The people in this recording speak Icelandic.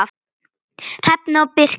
Hrefna og Birkir.